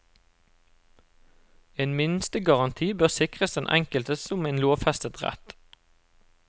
En minstegaranti bør sikres den enkelte som en lovfestet rett.